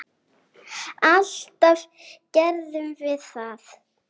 Alltaf gerðum við það.